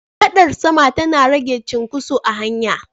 Gadar sama tana rage cin koso a hanya